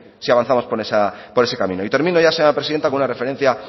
si avanzamos por ese camino y termino ya señora presidenta con una referencia